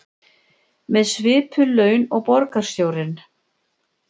Með svipuð laun og borgarstjórinn